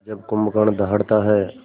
जब कुंभकर्ण दहाड़ता है